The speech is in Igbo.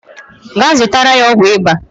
Gaa zụtara ya ọgwụ ịba